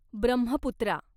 Brahmaputra